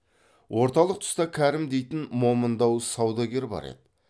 орталық тұста кәрім дейтін момындау саудагер бар еді